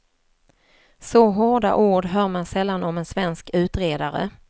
Så hårda ord hör man sällan om en svensk utredare.